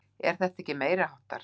Er þetta ekki meiriháttar?